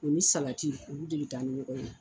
O ni salati olu de be taa ni ɲɔgɔn ye.